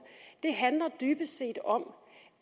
handler dybest set om